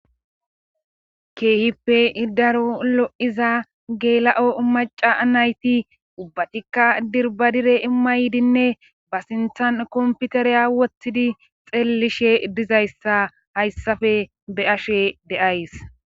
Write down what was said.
keehippe daro lo'iza geela'o maca anayti ubbatikka dirbadire imma ydinne ba sintan komputeriya wottidi xeellishe dizayssa hayssafe be'ashe de'ays